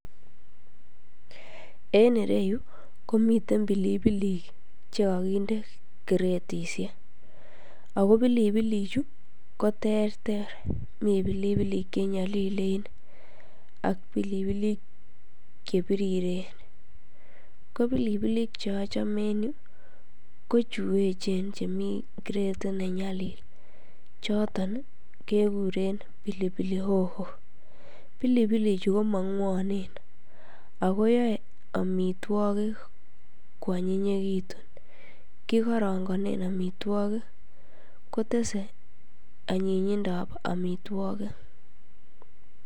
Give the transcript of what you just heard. En iryeu komiten pilipilik che kakinde kiretisiek, ako pilipilichu ko terter, mi pilipilik che nyalilen ak pilipilik che piriren, ko pilipilik che achome en yu, ko chu echen chemi kretit ne nyalil, choton kekuren pilipili hoho, pilipilichu ko mangwonen, akoyae amitwogik kwanyinyekitun, kikorongonen amitwogik, kotese anyinyindab amitwogik